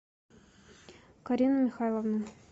карину михайловну